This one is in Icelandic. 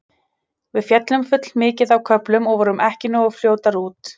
Við féllum full mikið á köflum og vorum ekki nógu fljótar út.